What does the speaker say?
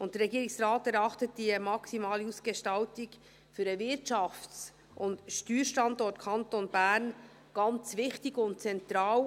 Der Regierungsrat erachtet die maximale Ausgestaltung für den Wirtschafts- und Steuerkanton Bern als ganz wichtig und zentral.